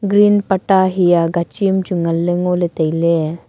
green patta hia gachim chu nganle ngole taile.